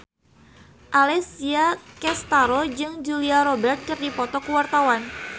Alessia Cestaro jeung Julia Robert keur dipoto ku wartawan